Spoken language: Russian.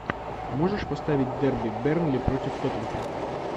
можешь поставить дерби бернли против тоттенхэм